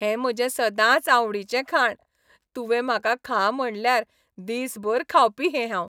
हें म्हजें सदांचआवडीचें खाण, तुंवें म्हाका खा म्हणल्यार, दिसभर खावपी हें हांव.